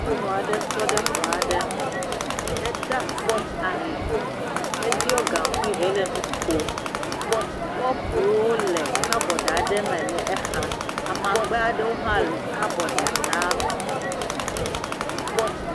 Nyunua ɖe tɔ ɖe xɔa ɖe me, eɖa asi ali, eɖiɔ gaŋkui hele nu kom, kɔpuwo le kabɔɖ aɖe me le eha, amagbea ɖewo hã le kabɔɖa tame.